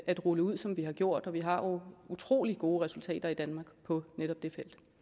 at rulle ud som vi har gjort og vi har jo utrolig gode resultater i danmark på netop det